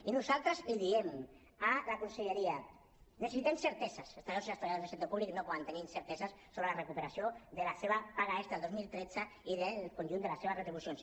i nosaltres li diem a la conselleria necessitem certeses els treballadors i les treballadores del sector públic no poden tenir incerteses sobre la recuperació de la seva paga extra del dos mil tretze i del conjunt de les seves retribucions